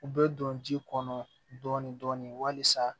U bɛ don ji kɔnɔ dɔɔni dɔɔni walisa